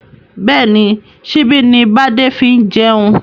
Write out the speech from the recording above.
Bẹ́ẹ̀ni, síbi ni bade fi ń jẹun